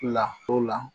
Lafo la